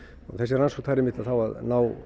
og þessi rannsókn þarf einmitt að ná